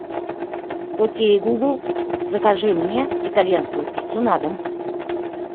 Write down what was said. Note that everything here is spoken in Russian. окей гугл закажи мне итальянскую пиццу на дом